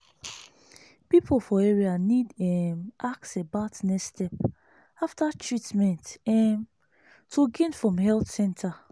people for area need um ask about next step after treatment um to gain from health center.